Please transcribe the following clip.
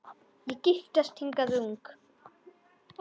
Ég giftist hingað ung